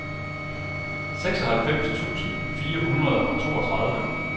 seksoghalvfems tusind fire hundrede og toogtredive